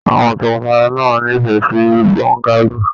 Àwọn tọkọtaya náà n'ifẹ sí bọ́ngálò.